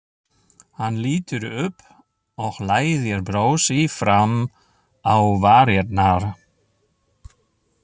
Hann lítur upp og læðir brosi fram á varirnar.